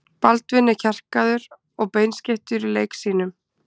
Baldvin er kjarkaður og beinskeyttur í leik sínum.